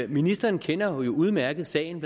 ministeren kender jo udmærket sagen